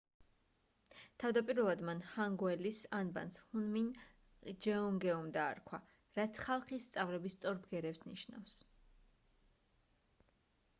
თავდაპირველად მან ჰანგეულის ანბანს hunmin jeongeum დაარქვა რაც ხალხის სწავლების სწორ ბგერებს ნიშნავს